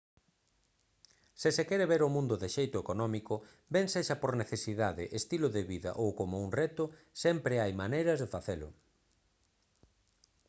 se se quere ver o mundo de xeito económico ben sexa por necesidade estilo de vida ou como un reto sempre hai maneiras de facelo